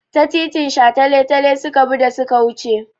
Ta titin shataletale suka bi da su ke wuce.